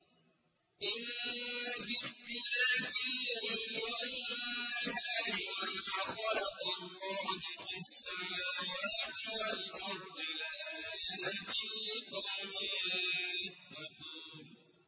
إِنَّ فِي اخْتِلَافِ اللَّيْلِ وَالنَّهَارِ وَمَا خَلَقَ اللَّهُ فِي السَّمَاوَاتِ وَالْأَرْضِ لَآيَاتٍ لِّقَوْمٍ يَتَّقُونَ